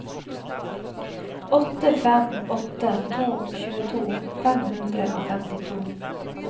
åtte fem åtte to tjueto fem hundre og femtito